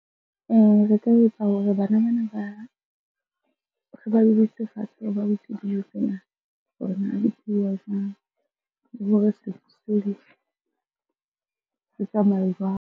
Re ka etsa hore bana bana ba fatshe dijo tsena hore na di pheuwa jwang? Le hore setso se tsamaya jwang?